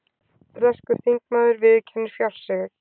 Breskur þingmaður viðurkennir fjársvik